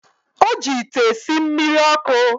O ji ite esi mmiri ọkụ.